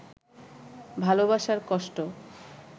ভালবাসার কষ্ট